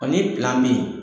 be ye